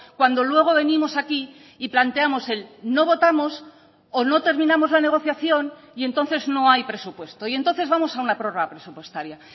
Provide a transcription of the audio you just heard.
cuando luego venimos aquí y planteamos el no votamos o no terminamos la negociación y entonces no hay presupuesto y entonces vamos a una prórroga presupuestaria